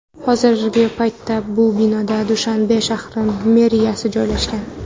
Hozirgi paytda bu binoda Dushanbe shahri meriyasi joylashgan.